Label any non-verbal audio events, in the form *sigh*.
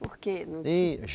Por quê? *unintelligible*